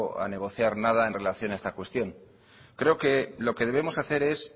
a negociar nada en relación a esta cuestión creo que lo que debemos hacer es